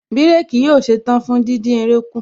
Bírèkì yóò ṣetán fún díndín eré kù